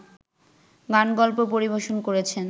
গানগল্প পরিবেশন করেছেন